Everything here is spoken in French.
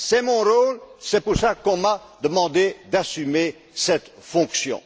C'est mon rôle, c'est pour cela qu'on m'a demandé d'assumer cette fonction.